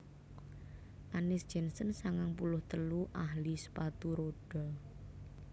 Annis Jensen sangang puluh telu ahli sepatu rodha